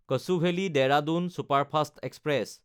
কচুভেলি–দেৰাদুন superfast express